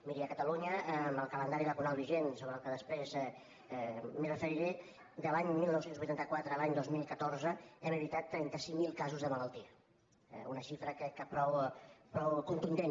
miri a catalunya amb el calendari vacunal vigent i al qual després em referiré de l’any dinou vuitanta quatre a l’any dos mil catorze hem evitat trenta cinc mil casos de malaltia eh una xifra crec que prou contundent